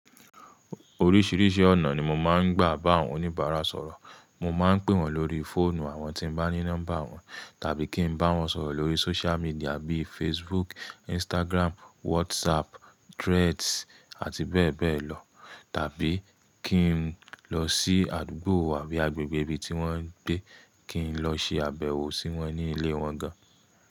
Oríṣiríṣi ọ̀nà ni mo máa ń gbà bá àwọn oníbàárà sọ̀rọ̀. Mo ma ń pè wọ́n lórí fóònù àwọn tí n bá ní number wọn tàbí kí n bá wọn sọ̀rọ̀ lórí social media bíi Facebook, Instagram, WhatsApp, Threads àti bẹ́ẹ̀ bẹ́ẹ̀ lọ. Tàbí kí n lọ sí àdúgbò àbí agbègbè ibi tí wọ́n ń gbé, kí n lọ ṣe àbẹ̀wò sí wọ́n ní ilé wọn gan.